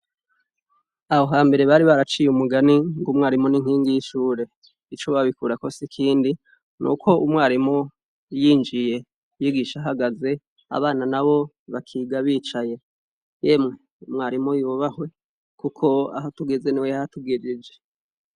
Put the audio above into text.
Abo hambere bari baraciye umugani ngo umwarimu n'inkingi y'ishure. Ico babikurako sikindi nuko umwarimu yinjiye yigisha hagaze, abana na bo bakiga bicaye, yemwe umwarimu yubahwe! kuko aho tugeze niwe yahatugejeje.